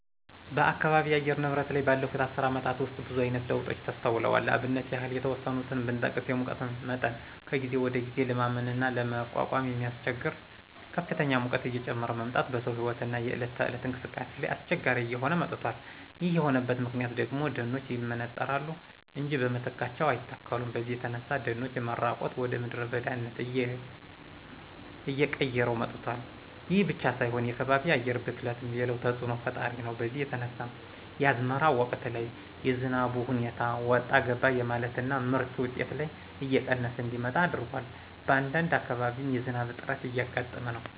በአካባቢ የአየር ንብረት ላይ ባለፉት አስር አመታት ውስጥ ብዙአይነት ለውጦች ተስተውለዋል ለአብነት ያህል የተወሰኑትን ብጠቅስ የሙቀት መጠን ከጊዜ ወደጊዜ ለማመንና ለመቋቋም በሚያስቸግር ከፍተኛ ሙቀት እየጨመረ መምጣት በሰው ህይወትና የእለት ተእለት እንቅስቃሴ ላይ አስቸጋሪ እየሆነ መጧል ይሄ የሆነበት ምክንያት ደግሞ ደኖች ይመነጠራሉ እንጃ በምትካቸው አይተከሉም በዚህ የተነሳ የደኖች መራቆት ወደምድረ በዳነት አየቀየረው መጧል። ይሄ ብቻ ሳይሆን የከባቢ አየር ብክለትም ሌላው ተጽእኖ ፈጣሪ ነው በዚህ የተነሳ የአዝመራ ወቅት ላይ የዝናቡ ሁኔታ ወጣ ገባ የማለትና የምርት ውጤት ላይ እየቀነሰ እንዲመጣ አድርጓል በአንዳንድ አካባቢም የዝናብ እጥረት እያጋጠመ ነው።